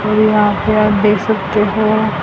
ये यहां पे आप देख सकते हो।